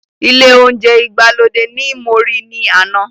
Ile ounje igbalode ní mo ri ni àna